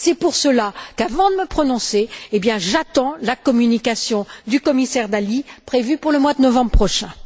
C'est pour cela qu'avant de me prononcer, j'attends la communication du commissaire Dalli, prévue pour le mois de novembre prochain.